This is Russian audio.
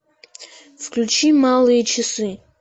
включи малые часы